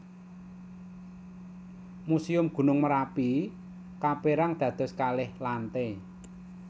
Muséum Gunung Merapi kapérang dados kalih lantai